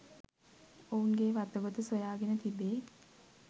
ඔවුන්ගේ වතගොත සොයාගෙන තිබේ.